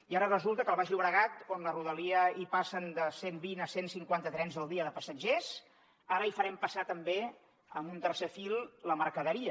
i ara resulta que al baix llobregat on a la rodalia hi passen de cent vint a cent cinquanta trens al dia de passatgers ara hi farem passar també amb un tercer fil la mercaderia